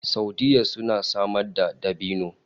Saudiyya suna samar da dabino